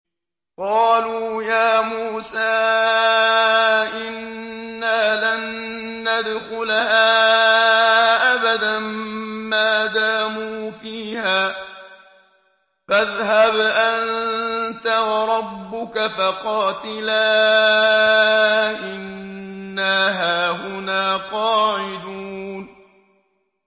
قَالُوا يَا مُوسَىٰ إِنَّا لَن نَّدْخُلَهَا أَبَدًا مَّا دَامُوا فِيهَا ۖ فَاذْهَبْ أَنتَ وَرَبُّكَ فَقَاتِلَا إِنَّا هَاهُنَا قَاعِدُونَ